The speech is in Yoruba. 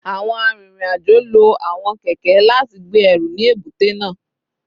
Awọn arinrin-ajo lo awọn kẹkẹ lati gbe ẹru ni ebute naa